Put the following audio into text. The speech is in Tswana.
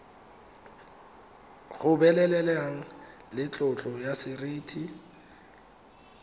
gobeleleng le tlotlo ya seriti